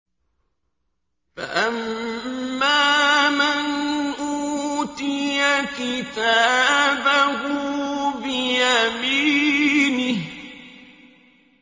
فَأَمَّا مَنْ أُوتِيَ كِتَابَهُ بِيَمِينِهِ